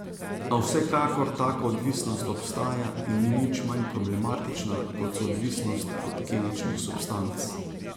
A vsekakor taka odvisnost obstaja in ni nič manj problematična, kot so odvisnosti od kemičnih substanc.